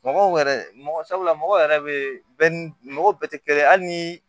Mɔgɔw yɛrɛ mɔgɔ sabula mɔgɔw yɛrɛ bɛ mɔgɔw bɛɛ tɛ kelen ye hali ni